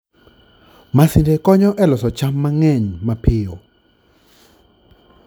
Masinde konyo e loso cham mang'eny mapiyo.